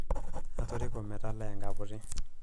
atoriko metaalaa enkaputi